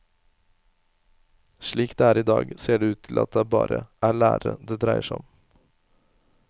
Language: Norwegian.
Slik det er i dag, ser det ut til at det bare er lærerne det dreier seg om.